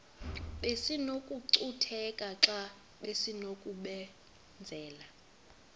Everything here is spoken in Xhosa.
besinokucutheka xa besinokubenzela